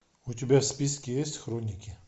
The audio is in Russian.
у тебя в списке есть хроники